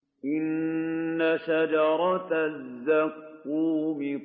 إِنَّ شَجَرَتَ الزَّقُّومِ